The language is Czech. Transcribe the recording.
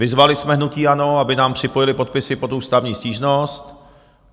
Vyzvali jsme hnutí ANO, aby k nám připojili podpisy pod ústavní stížnost.